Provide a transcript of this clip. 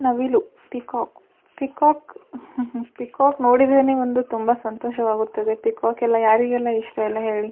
ನವಿಲು peacock peacock ಹುಹು peacock ನೊಡಿದ್ರೆನೇ ಒಂದು ತುಂಬ ಸಂತೋಷವಾಗುತ್ತದೆ ಪಿಕೋಕ್ಕೆಲ್ಲ ಯಾರಿಗೆಲ್ಲ ಇಷ್ಟ ಇಲ್ಲ ಹೇಳಿ .